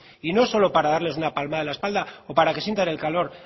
y no solo para darles una palmada en la espalda o para que sientan el calor